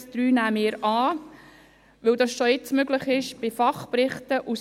Die 3 nehmen wir an, weil dies bei Fachberichten jetzt möglich ist.